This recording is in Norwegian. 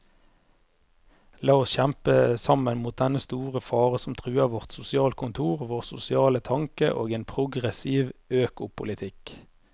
La oss kjempe sammen mot dennne store fare som truer vårt sosialkontor, vår sosiale tanke og en progressiv økopolitikk.